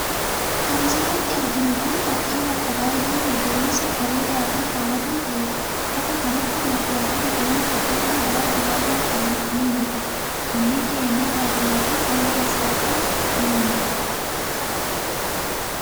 Kan as irrartti arginu kun ,fakkii bakka baay'ee magariisa ,bareedaa fi hawwataa ta'eedha. Bakka kanatti margaa fi biqiloonni dhedheeroo baala babal'aa qaban ni mul'atu. Manneen jireenyaa baadiyaa fi daandiin asfaaltiis ni mul'atu.